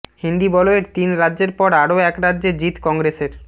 হিন্দি বলয়ের তিন রাজ্যের পর আরও এক রাজ্যে জিত কংগ্রেসের